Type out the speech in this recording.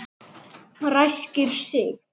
Ræskir sig.